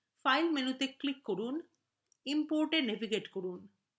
file মেনুতে click করুন importএ navigate করুন